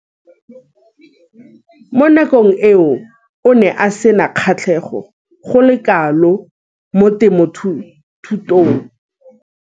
Mo nakong eo o ne a sena kgatlhego go le kalo mo temothuong.